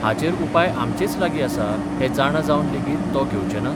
हाचेर उपाय आमचेच लागीं आसा हें जाणा जावन लेगीत तो घेवचे नात?